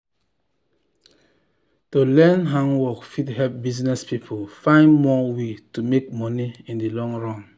to learn handwork fit help business people find more way to make money in the long run.